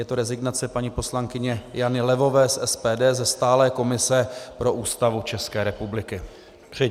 Je to rezignace paní poslankyně Jany Levové z SPD, ze stálé komise pro Ústavu České republiky.